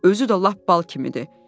Özü də lap bal kimidir.